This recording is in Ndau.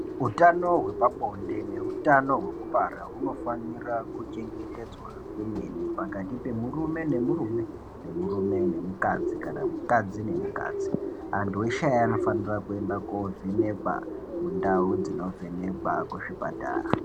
Utano hwepabonde neutano hwekubara hunofanira kuchengetedza kwemene. Pakati pemurume nemuerume nemurume nemukadzi kana mukadzi nemukadzi. Antu eshe aya anofanire kuende kovhenekwa mundau dzinovhenekwa kuzvipatara.